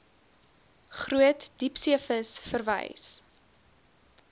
groot diepseevis verwys